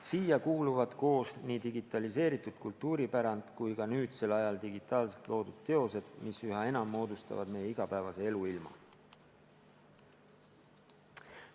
Sellesse kuuluvad koos nii digitaliseeritud kultuuripärand kui ka nüüdsel ajal digitaalselt loodud teosed, mis üha enam moodustavad meie igapäevase eluilma.